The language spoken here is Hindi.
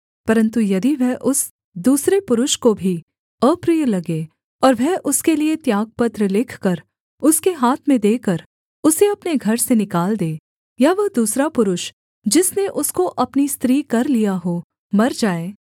परन्तु यदि वह उस दूसरे पुरुष को भी अप्रिय लगे और वह उसके लिये त्यागपत्र लिखकर उसके हाथ में देकर उसे अपने घर से निकाल दे या वह दूसरा पुरुष जिसने उसको अपनी स्त्री कर लिया हो मर जाए